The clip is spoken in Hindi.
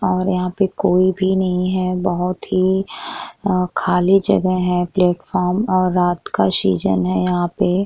और यहां पर कोई भी नहीं है बहुत ही खाली जगह है प्लेटफार्म और रात का सीजन है यहाँ पे --